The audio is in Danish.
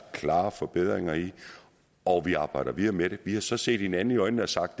klare forbedringer i det og vi arbejder videre med det vi har så set hinanden i øjnene og sagt